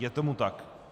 Je tomu tak.